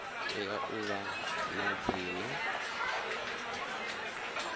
tea u vha na dzina